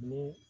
Ni